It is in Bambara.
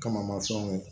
Kamama fɛnw ye